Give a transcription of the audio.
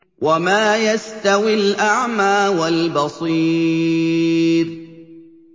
وَمَا يَسْتَوِي الْأَعْمَىٰ وَالْبَصِيرُ